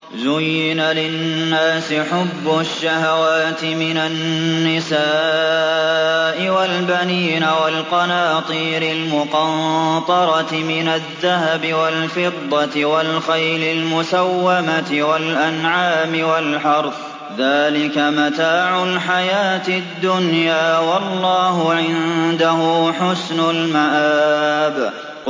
زُيِّنَ لِلنَّاسِ حُبُّ الشَّهَوَاتِ مِنَ النِّسَاءِ وَالْبَنِينَ وَالْقَنَاطِيرِ الْمُقَنطَرَةِ مِنَ الذَّهَبِ وَالْفِضَّةِ وَالْخَيْلِ الْمُسَوَّمَةِ وَالْأَنْعَامِ وَالْحَرْثِ ۗ ذَٰلِكَ مَتَاعُ الْحَيَاةِ الدُّنْيَا ۖ وَاللَّهُ عِندَهُ حُسْنُ الْمَآبِ